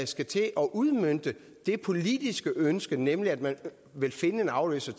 skal til at udmønte det politiske ønske nemlig at man vil finde en afløser